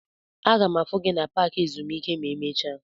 M ga-afụ gị na paaki ezumike ma emecha.